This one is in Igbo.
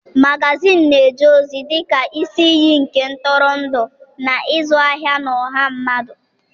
Magazịịnị na-eje ozi dị ka isi iyi nke ntụrụndụ na ịzụ ahịa na ọha mmadụ.